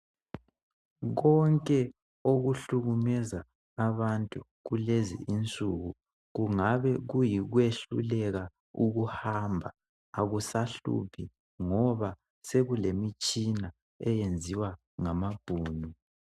Konke okuhlukumeza abantu kulezinsuku kungaba kuyikwehluleka ukuhamba akusahluphi kulezinsuku ngoba sokulemitshina elungiswa ngama Bhunu.